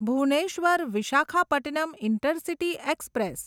Bhubaneswar Visakhapatnam intercity express